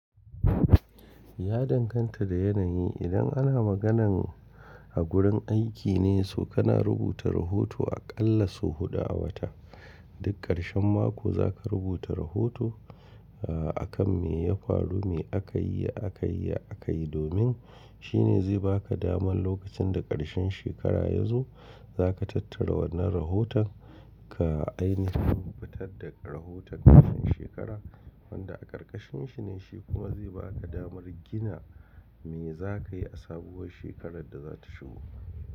Ya danganta da yanayi. Idan ana maganan a gurin aiki ne, so kana rubuta rahoto aƙalla sau huɗu a wata. Duk ƙarshen mako za ka rubuta rahoto, a kan me ya faru, me akayi, ya akayi, ya akayi. Domin shine zai baka damar lokacin da ƙarshen shekara ya zo, za ka tattara wannan rahotan ka ai nahin fitar da rahoton ƙarshen shekara wanda a ƙarƙarshin shi ne shi kuma zai baka damar gina me za ka yi a sabuwar shekarar da za ta shigo.